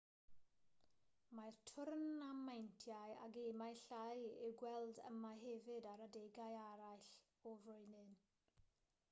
mae twrnameintiau a gemau llai i'w gweld yma hefyd ar adegau eraill o'r flwyddyn